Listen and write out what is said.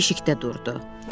Hek keşikdə durdu.